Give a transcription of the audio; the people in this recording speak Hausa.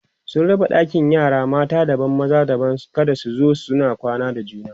sun raba ɗakin yara mata daban da na maza kada su zo suna kwana da juna